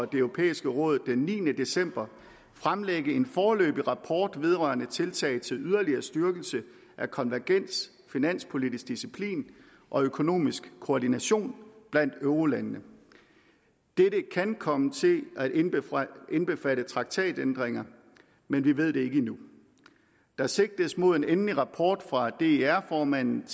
det europæiske råd den niende december fremlægge en foreløbig rapport vedrørende tiltag til yderligere styrkelse af konvergens finanspolitisk disciplin og økonomisk koordination blandt eurolandene dette kan komme til at indbefatte indbefatte traktatændringer men vi ved det ikke endnu der sigtes mod en endelig rapport fra der formanden